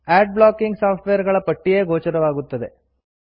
add blocking software ಗಳ ಪಟ್ಟಿಯೇ ಗೋಚರವಾಗುತ್ತದೆ